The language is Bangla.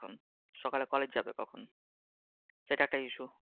সকালে college যাবে কখন? সেটা একটা